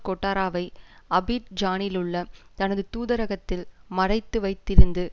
கொட்டாராவை அபிட் ஜானிலுள்ள தனது தூதரகத்தில் மறைத்து வைத்திருந்து